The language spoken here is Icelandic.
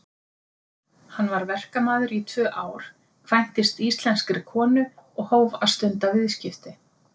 Hann var verkamaður í tvö ár, kvæntist íslenskri konu og hóf að stunda viðskipti.